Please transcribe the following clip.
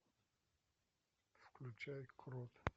включай крот